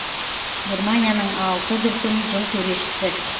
германияның алты дүркін жыл төрешісі